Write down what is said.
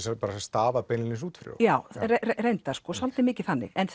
stafað beinlínis út fyrir já reyndar svolítið mikið þannig en